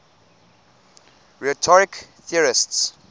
rhetoric theorists